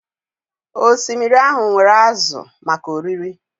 Osimiri ahụ nwere ázụ̀ maka oriri